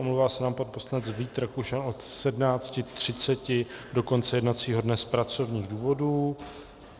Omlouvá se nám pan poslanec Vít Rakušan od 17.30 do konce jednacího dne z pracovních důvodů.